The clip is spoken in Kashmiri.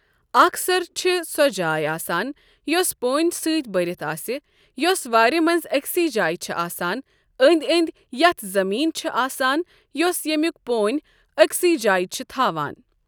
اَکھ سَر چھَ سۄ جاے آسان یۄس پونؠ سٟتؠ بٔرِتھ آسؠ، یۄس وٲر مَنٛز ایکسی جاے چھہٕ آسان، أنٛدؠ أنٛدؠ یَتھ زَمیٖن چھہٕ آسان یۄس یؠمُک پونؠ ایکسی جاے چھہٕ تھاوان۔